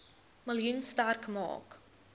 miljoen sterk maak